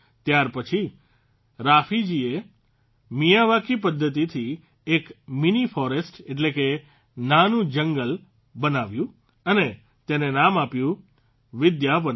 ત્યારપછી રાફીજીએ મિયાવાકી પદ્ધતિથી એક મીની ફોરેસ્ટ એટલે કે નાનું જંગલ બનાવ્યું અને તેને નામ આપ્યું વિદ્યાવનમ